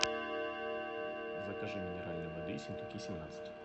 закажи минеральной воды ессентуки семнадцать